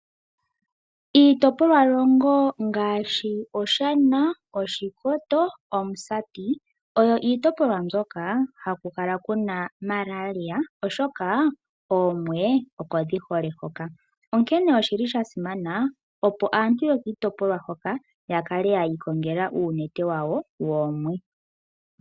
Iitopolwahoogololo ngaashi Oshana, Oshikoto nOmusati oyo iitopolwa hoka haku kala ku na Malaria, oshoka oomwe oko dhi hole hoka. Osha simana opo aantu yokiitopolwa hoka ya kale yi ikongela oonete dhawo dhoomwe.